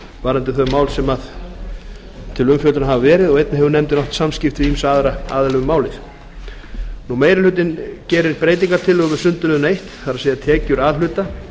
varðandi þau mál sem til umfjöllunar hafa verið og einnig hefur nefndin átt samskipti við ýmsa aðra aðila um málið meiri hlutinn gerir breytingartillögur við sundurliðun einu tekjur a hluta